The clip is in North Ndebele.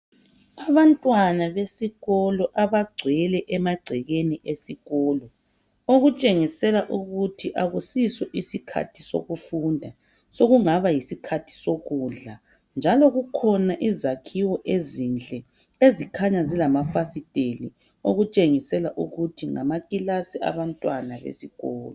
Abantwana besikolo abagcwele emagcekeni esikolo, okutshengisela ukuthi akusiso isikhathi sokufunda, sokungaba yisikhathi sokudla, njalo kukhona izakhiwo ezinhle ezikhanya zilamafasiteli okutshengisela ukuthi ngamakilasi abantwana besikolo.